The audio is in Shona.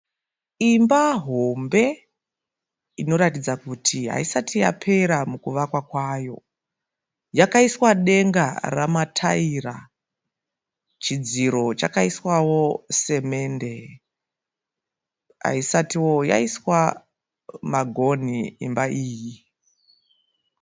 Imba hombe inoratidza kuti haisati yapera mukuvakwa kwavo. Yakaiswa denga ramataira, chidziro chakaiswawo semende. Haisati yaiswa magonhi imba iyi.